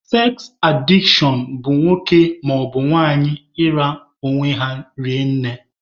Seks adishọn bụ nwoke maọbụ nwanyị ịra onwe ha rinne.